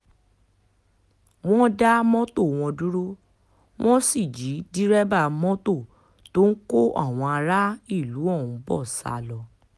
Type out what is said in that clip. wọ́n dá mọ́tò wọn dúró wọ́n sì jí dèrèbà mọ́tò tó ń kó àwọn aráàlú ọ̀hún bó sá lọ